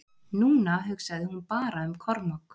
Núna hugsaði hún bara um Kormák.